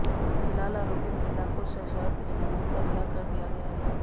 फिलहाल आरोपी महिला को सशर्त जमानत पर रिहा कर दिया गया है